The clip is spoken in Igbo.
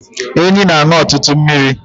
Enyí na-aṅụ ọtụtụ mmiri